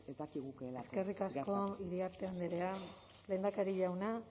dakigukeelak gerta eskerrik asko iriarte andrea lehendakari jauna